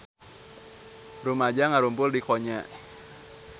Rumaja ngarumpul di Konya